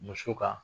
Muso kan